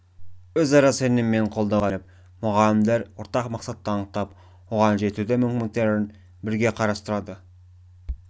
өзара сенім мен қолдауға сүйеніп мұғалімдер ортақ мақсатты анықтап оған жетудің мүмкіндіктерін бірігіп қарастырады